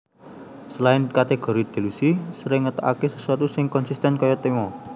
Selain kategori Delusi sering ngetokake sesuatu sing konsisten kaya tema